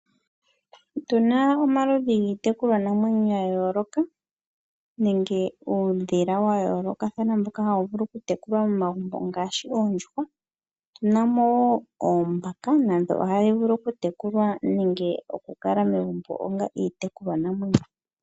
Otu na omaludhi giitekulwanamwenyo ya yooloka nenge uudhila wa yoolokathana mboka hawu vulu okutekulwa momagumbo ngaashi oondjuhwa. Otu na wo oombaka nadho ohadhi vulu okutekulwa nenge okukala megumbo onga iitekulwanamwenyo.